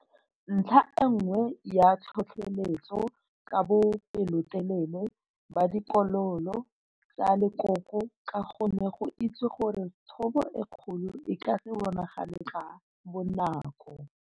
Ntlha e nngwe ya tlhotlheletso ke bopelotelele ba ditokololo tsa lekoko, ka go ne go itsewe gore thobo e kgolo e ka se bonagale ka bonako.